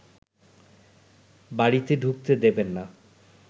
বাড়িতে ঢুকতে দেবেন না